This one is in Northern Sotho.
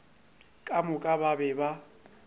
ka moka ba be ba